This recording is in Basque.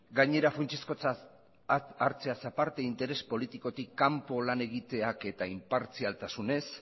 gainera funtsezkotzat hartzeaz aparte interes politikotik kanpo lan egiteak eta inpartzialtasunez